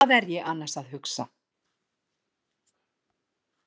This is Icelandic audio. Hvað er ég annars að hugsa?